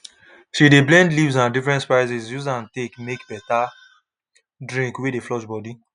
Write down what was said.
she de blend leaves and different spices use am take make better drink wey dey flush body